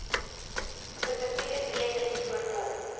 spesifieke tekens voorkom